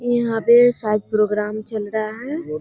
यहाँ पे शायद प्रोग्राम चल रहा है।